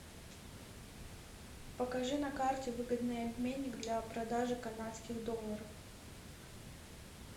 покажи на карте выгодный обменник для продажи канадских долларов